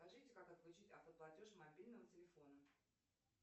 скажите как отключить автоплатеж мобильного телефона